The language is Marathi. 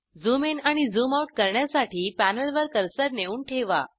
झूम ईन आणि झूम आऊट करण्यासाठी पॅनेलवर कर्सर नेऊन ठेवा